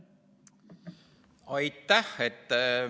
Aitäh!